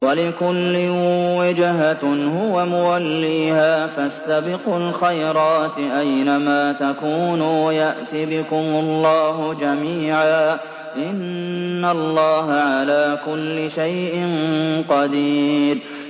وَلِكُلٍّ وِجْهَةٌ هُوَ مُوَلِّيهَا ۖ فَاسْتَبِقُوا الْخَيْرَاتِ ۚ أَيْنَ مَا تَكُونُوا يَأْتِ بِكُمُ اللَّهُ جَمِيعًا ۚ إِنَّ اللَّهَ عَلَىٰ كُلِّ شَيْءٍ قَدِيرٌ